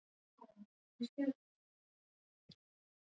Þar var fólginn ókannaður leyndardómur.